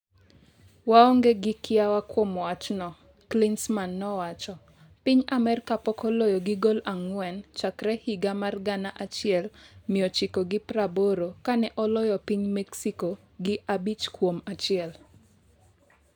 Waonge gi kiawa kuom wachno,'' Klinsmann nowacho, piny Amerka pok oloyo gi goal ang'wen chakre higa mar 1980 ka ne oloyo piny Mexico gi 5-1.